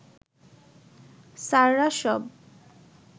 স্যাররা সব